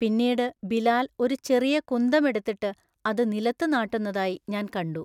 പിന്നീട് ബിലാൽഒരു ചെറിയ കുന്തം എടുത്തിട്ട് അത് നിലത്തു നാട്ടുന്നതായി ഞാൻ കണ്ടു.